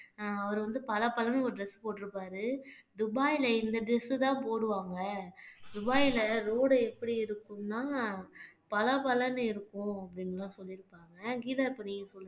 அஹ் அவர் வந்து பளபளன்னு ஒரு dress போட்டிருப்பாரு துபாய்ல இந்த dress தான் போடுவாங்க துபாய்ல road எப்படி இருக்கும்னா பளபளன்னு இருக்கும் அப்படின்னு எல்லாம் சொல்லி இருப்பாங்க கீதா நீங்க சொல்லுங்க